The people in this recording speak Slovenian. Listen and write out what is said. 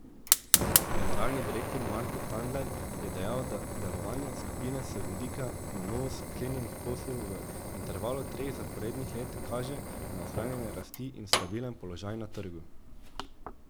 Generalni direktor Marko Tandler je dejal, da delovanje skupine z vidika na novo sklenjenih poslov v intervalu treh zaporednih let kaže na ohranjanje rasti in stabilen položaj na trgu.